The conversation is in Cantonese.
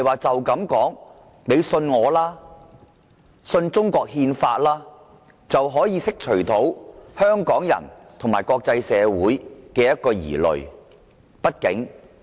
當局不能說："你相信我吧，相信中國憲法吧"便能釋除香港人和國際社會的疑慮。